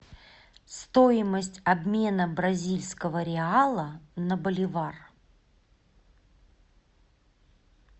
стоимость обмена бразильского реала на боливар